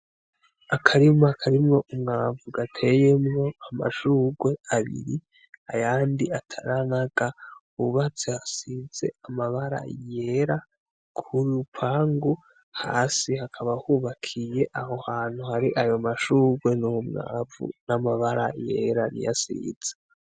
Akarima karimwo umwavu gateyemwo amashugwe abiri ayandi ataranaga hubatse hasize amabara yera kurupangu hasi hakaba hubakiye aho hantu hari ayo mashugwe nuwo mwavu n'amabara yera niyo asize.